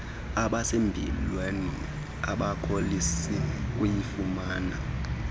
abasempilweni abakholisi kuyifumana